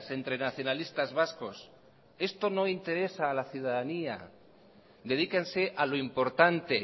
entre nacionalistas vascos esto no interesa a la ciudadanía dedíquense a lo importante